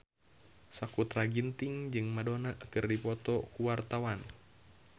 Sakutra Ginting jeung Madonna keur dipoto ku wartawan